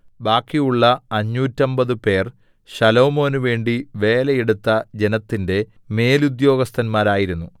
ബാക്കിയുള്ള അഞ്ഞൂറ്റമ്പതുപേർ ശലോമോനുവേണ്ടി വേലയെടുത്ത ജനത്തിന്റെ മേലുദ്യോഗസ്ഥന്മാരായിരുന്നു